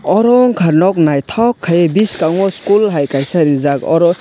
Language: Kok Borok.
oro ungkha nok naithok khai biskango school hai rijak oro.